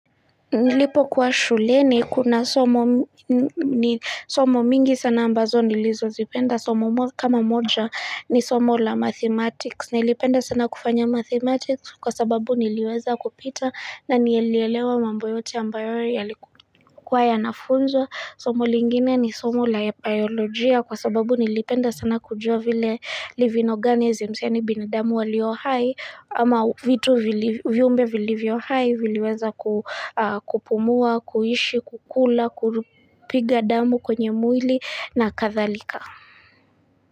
Nilipokuwa shuleni kuna somo mingi sana ambazo nilizozipenda, somo kama moja ni somo la mathematics, nilipenda sana kufanya mathematics kwa sababu niliweza kupita na nilielewa mambo yote ambayo yalikuwa yanafunzwa. Somo lingine ni somo la biolojia kwa sababu nilipenda sana kujua vile living organisms, yaani binadamu walio hai ama vitu, viumbe vilivyo hai viliweza kupumua, kuishi, kukula, kupiga damu kwenye mwili na kadhalika.